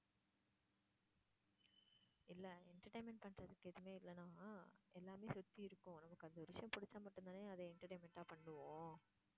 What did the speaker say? இல்ல entertainment பண்றதுக்கு எதுவுமே இல்லனா எல்லாமே சுத்தி இருக்கும் நமக்கு அந்த ஒரு விஷயம் பிடிச்சா மட்டும் தானே அதை entertainment ஆ பண்ணுவோம்